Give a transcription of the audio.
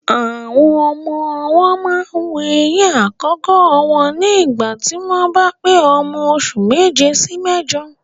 Àwọn ọmọ ọwọ́ máa ń wu eyín àkọ́kọ́ wọn ní ìgbà tí wọ́n bá pé ọmọ oṣù méje sí méjọ.